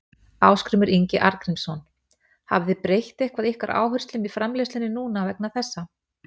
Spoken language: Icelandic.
Ásgrímur Ingi Arngrímsson: Hafið þið breytt eitthvað ykkar áherslum í framleiðslunni núna vegna þessa?